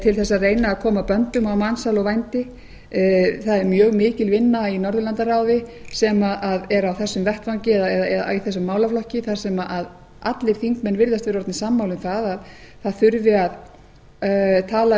til að reyna að koma böndum á mansal og vændi það er mjög mikil vinna í norðurlandaráði sem er á þessum vettvangi eða í þessum málaflokki þar sem allir þingmenn virðast vera orðnir sammála um það að það þurfi að tala